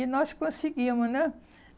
E nós conseguíamos, né?